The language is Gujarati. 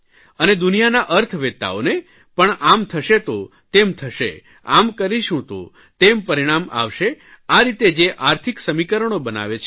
અને દુનિયાના અર્થવેતાઓને પણ આમ થશે તો તેમ થશે આમ કરીશું તો તેમ પરિણામ આવશે આ રીતે જે આર્થિક સમીકરણો બનાવે છે